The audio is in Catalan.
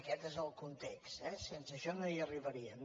aquest és el context eh sense això no hi arribaríem